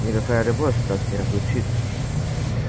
никакая любовь нас не разлучит